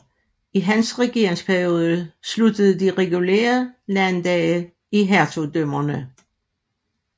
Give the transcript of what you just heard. I hans regeringsperiode sluttede de regulære landdage i hertugdømmerne